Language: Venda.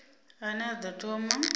a ne a ḓo thoma